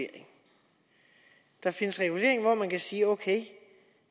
at der findes regulering og man kan sige at